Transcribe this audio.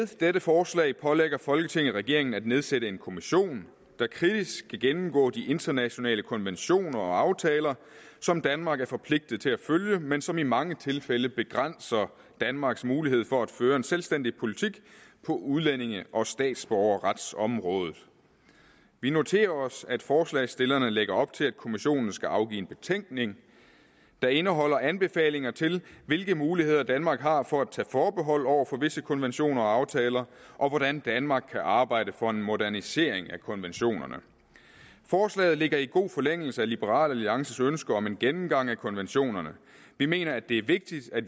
dette forslag pålægger folketinget regeringen at nedsætte en kommission der kritisk skal gennemgå de internationale konventioner og aftaler som danmark er forpligtet til at følge men som i mange tilfælde begrænser danmarks mulighed for at føre en selvstændig politik på udlændinge og statsborgerretsområdet vi noterer os at forslagsstillerne lægger op til at kommissionen skal afgive en betænkning der indeholder anbefalinger til hvilke muligheder danmark har for at tage forbehold over for visse konventioner og aftaler og hvordan danmark kan arbejde for en modernisering af konventionerne forslaget ligger i god forlængelse af liberal alliances ønske om en gennemgang af konventionerne vi mener at det er vigtigt at